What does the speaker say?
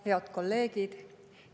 Head kolleegid!